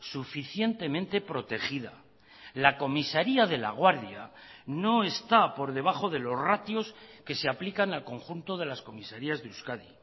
suficientemente protegida la comisaría de laguardia no está por debajo de los ratios que se aplican al conjunto de las comisarías de euskadi